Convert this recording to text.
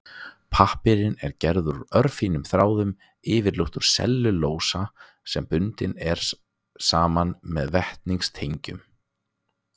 Pappír er gerður úr örfínum þráðum, yfirleitt úr sellulósa sem bundinn er saman með vetnistengjum.